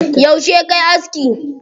Yauce kayi aski?